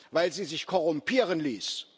weil sie sich korrumpieren ließ.